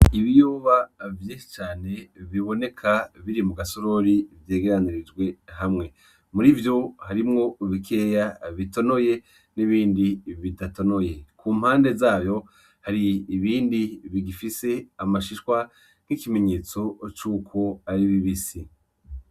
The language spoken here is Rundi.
Ibiyoba vyinshi cane biboneka biri muga sorori vyegeranirijwe hamwe muri ivyo harimwo bikeya bitonoye n'ibindi bidatonoye kumpande zayo hari ibindi bigifise amashishwa nk'ikimenyetso cuko ari bibisi.